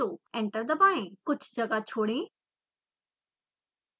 enter दबाएं कुछ जगह छोड़ें